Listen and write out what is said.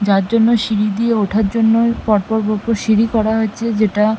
যার জন্য সিঁড়ি দিয়ে ওঠার জন্য পর পর পর পর সিঁড়ি করা হয়েছে যেটা--